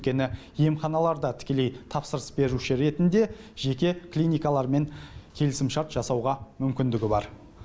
өйткені емханалар да тікелей тапсырыс беруші ретінде жеке клиникалармен келісімшарт жасауға мүмкіндігі бар